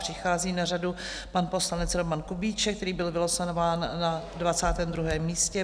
Přichází na řadu pan poslanec Roman Kubíček, který byl vylosován na 22. místě.